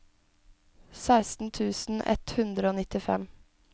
seksten tusen ett hundre og nittifem